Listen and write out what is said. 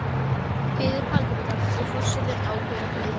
biður Halldóra og forsetinn ákveður að hlýða.